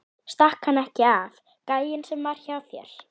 Stakk hann ekki af, gæinn sem var hjá þér?